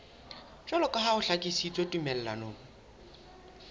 jwaloka ha ho hlakisitswe tumellanong